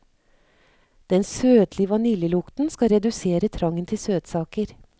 Den søtlige vaniljelukten skal redusere trangen til søtsaker.